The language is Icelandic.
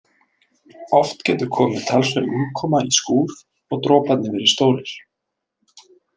Oft getur komið talsverð úrkoma í skúr og droparnir verið stórir.